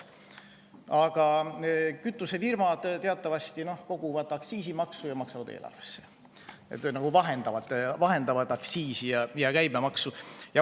Aga kütusefirmad koguvad teatavasti aktsiisimaksu ja maksavad seda eelarvesse, nad nagu vahendavad aktsiisi ja käibemaksu.